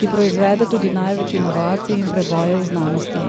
ki proizvede tudi največ inovacij in prebojev v znanosti.